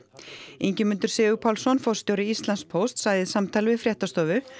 Ingimundur Sigurpálsson forstjóri Íslandspósts sagði í samtali við fréttastofu